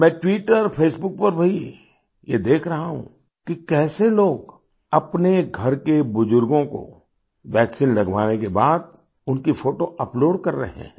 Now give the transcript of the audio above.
मैं ट्विटरफेसबुक पर भी ये देख रहा हूँ कि कैसे लोग अपने घर के बुजुर्गों को वैक्सीन लगवाने के बाद उनकी फ़ोटो अपलोड कर रहे हैं